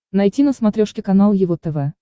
найти на смотрешке канал его тв